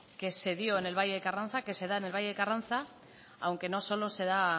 que se dio en el valle de carranza que se da en el valle de carranza aunque no solo se da